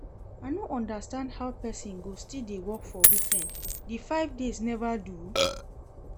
I no understand how person go still dey work for weekend, the five days never do?